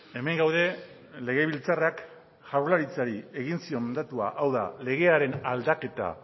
hemen gaude legebiltzarrak jaurlaritzari egin zion mandatua hau da legearen aldaketa